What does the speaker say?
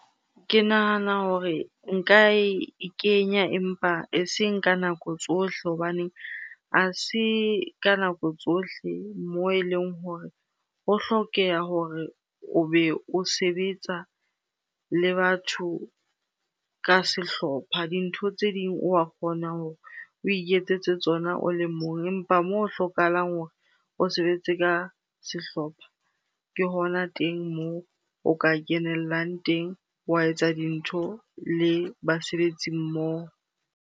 Ke nahana hore nka e kenya empa eseng ka nako tsohle hobaneng ha se ka nako tsohle moo eleng hore ho hlokeha hore o be o sebetsa le batho ka sehlopha. Dintho tse ding wa kgona hore o iketsetse tsona o le mong. Empa moo o hlokahalang hore o sebetse ka sehlopha, ke hona teng moo o ka kenellang teng wa etsa dintho le basebetsi mmoho.